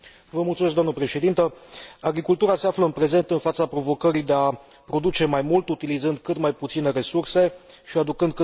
Agricultura se află în prezent în fața provocării de a produce mai mult utilizând cât mai puține resurse și aducând cât mai puține prejudicii mediului.